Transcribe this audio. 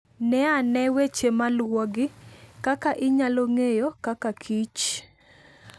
Ne ane weche ma luwogi. Kaka Inyalo Ng'eyo Kakakich: